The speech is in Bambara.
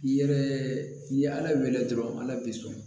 I yɛrɛ n'i ye ala wele dɔrɔn ala b'i sɔn